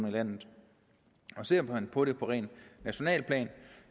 i landet ser man på det på rent nationalt plan